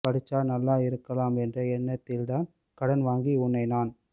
படிச்சா நல்லா இருக்கலாம் என்ற எண்ணத்தில்தான் கடன் வாங்கி உன்னை நான்